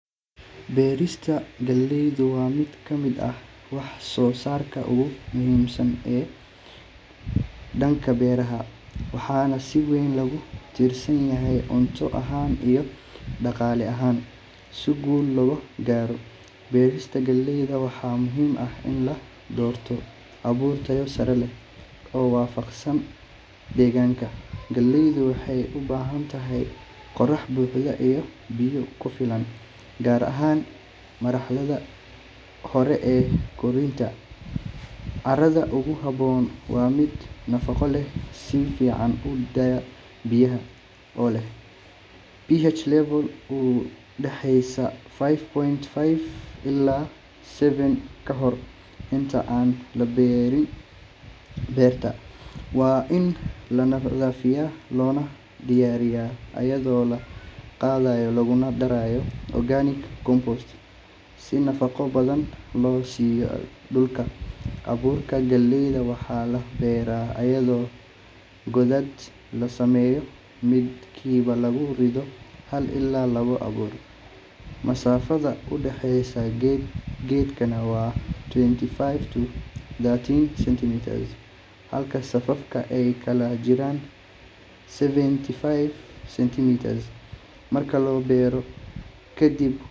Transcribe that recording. Beerista galeydu waa mid ka mid ah wax-soo-saarka ugu muhiimsan ee dhanka beeraha, waxaana si weyn loogu tiirsan yahay cunto ahaan iyo dhaqaale ahaan. Si guul looga gaaro beerista galeyda, waxaa muhiim ah in la doorto abuur tayo sare leh oo waafaqsan deegaanka. Galeydu waxay u baahan tahay qorrax buuxda iyo biyo ku filan, gaar ahaan marxaladaha hore ee koritaanka. Carrada ugu habboon waa mid nafaqo leh, si fiican u daaya biyaha, oo leh pH level u dhexeeya five point five ilaa seven. Ka hor inta aan la beeri, beerta waa in la nadiifiyaa loona diyaariyaa iyadoo la qodayo laguna darayo organic compost si nafaqo badan loo siiyo dhulka. Abuurka galeyda waxaa la beeraa iyadoo godad la sameeyo, midkiina lagu rido hal ilaa laba abuur, masaafada u dhaxeysa geed geedna waa twenty five to thirty centimeters, halka safafka ay kala jiraan seventy five centimeters. Marka la beero kadib.